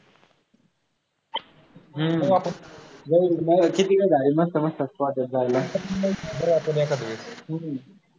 हम्म मजेतच झाली मस्त मस्त वाटतं जायला हम्म